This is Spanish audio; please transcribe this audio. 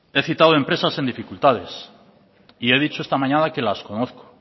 he citado empresas en dificultades y he dicho esta mañana que las conozco